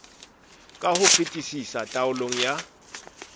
ka ho fetisisa taolong ya